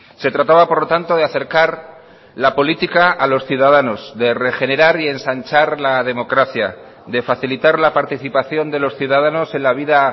se trataba por lo tanto de acercar la política a los ciudadanos de regenerar y ensanchar la democracia de facilitar la participación de los ciudadanos en la vida